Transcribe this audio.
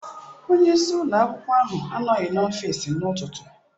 Onye isi ụlọ akwụkwọ ahụ anọghị n'ọfịsi n'ụtụtụ.